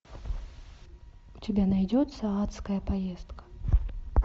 у тебя найдется адская поездка